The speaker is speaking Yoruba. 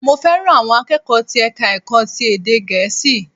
Mo fẹ́ràn àwọn akẹ́kọ̀ọ́ ti ẹ̀ka ẹ̀kọ́ ti ède gèésì